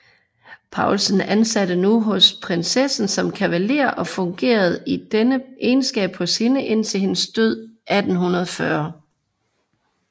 Paulsen ansattes nu hos prinsessen som kavalér og fungerede i denne egenskab hos hende indtil hendes død 1840